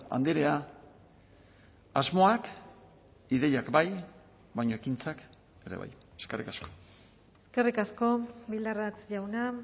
andrea asmoak ideiak bai baina ekintzak ere bai eskerrik asko eskerrik asko bildarratz jauna